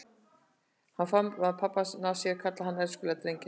Hún faðmaði pabba að sér og kallaði hann elskulega drenginn sinn.